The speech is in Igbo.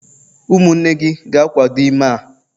umunne gi ga-akwado ime a?